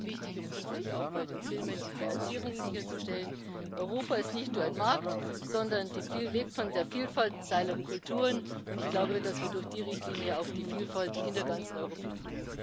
das halte ich für wichtig, um künftig auch bei den Filmen die Finanzierung sicherzustellen. Europa ist nicht nur ein Markt, sondern lebt von der Vielfalt seiner Kulturen, und ich glaube, dass wir durch die Richtlinie auf die Vielfalt in der ganzen Europäischen